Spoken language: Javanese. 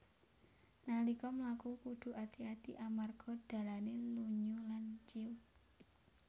Nalika mlaku kudhu ati ati amarga dalané lunyu lan ciuk